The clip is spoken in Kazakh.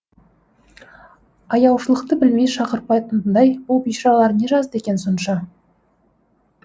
аяушылықты білмей шақпыртатындай бұл бейшаралар не жазды екен сонша